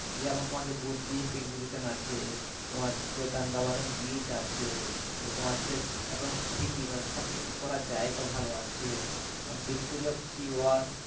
যেমন তোমার যে purpose exhibition আছে তোমার হচ্ছে gangabaram beach আছে আবার তোমার হচ্ছে একদম city মানে তোমার হচ্ছে যে shopping করার জায়গা ভালো আছে যেমন victory of sea work